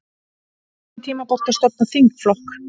Ekki tímabært að stofna þingflokk